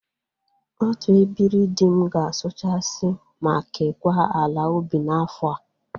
Otu ebiri dị m ga-asụchasi ma kekwa ala ubi n'afọ a.